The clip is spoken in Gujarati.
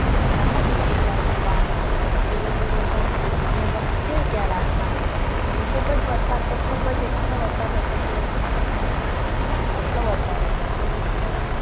કમર સુધી આવ્યું પાણી પછી ધીરે ધીરે એ તો હવે પછી સૂઈ ગયા રાતના. અને ખૂબ જ વરસાદ તો ખૂબ જ એટલો વરસાદ હતો કે પૂછો નહીં વાત એટલો વરસાદ હતો. અને